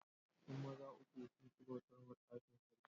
Yan maza uku sun ki bautar ma tsafin Sarkin.